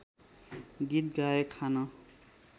गीत गाए खान